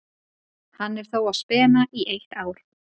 Hann er þó á spena í eitt ár.